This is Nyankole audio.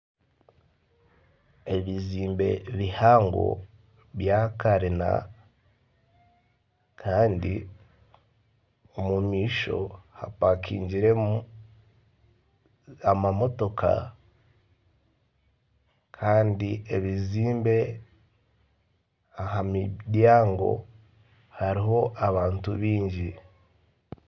Ebizimbe bihango bya karina kandi omu maisho hapakingiremu amamotoka kandi ebizimbe aha muryango hariho abantu baingi.